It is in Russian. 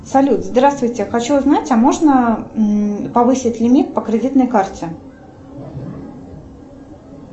салют здравствуйте хочу узнать а можно повысить лимит по кредитной карте